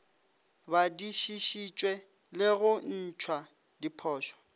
badišišitšwe le go ntšhwa diphošo